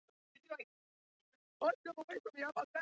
Hvergi höfðu þau Aðalsteinn og Edda séð annað eins.